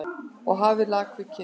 Hafa lakið við kinn.